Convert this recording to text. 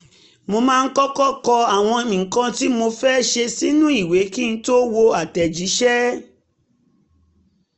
mo máa ń kọ́kọ́ kọ àwọn nǹkan tí mo fẹ́ ṣe sínú ìwé kí n tó wo àtẹ̀jíṣẹ́